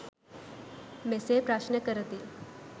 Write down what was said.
මෙසේ ප්‍රශ්න කරති.